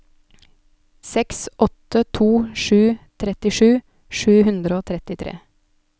seks åtte to sju trettisju sju hundre og trettitre